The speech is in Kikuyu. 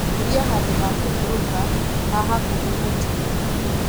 ũria handũ ha kũhũruka ha hakũhi gũtiga